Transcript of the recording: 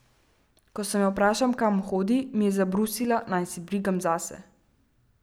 Ko sem jo vprašal, kam hodi, mi je zabrusila, naj se brigam zase.